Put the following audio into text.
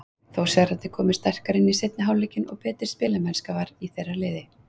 Þórsararnir komu sterkari inn í seinni hálfleikinn og betri spilamennska var í þeirra liði.